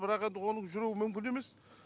бірақ енді оның жүруі мүмкін емес